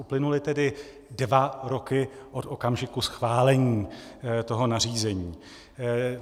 Uplynuly tedy dva roky od okamžiku schválení toho nařízení.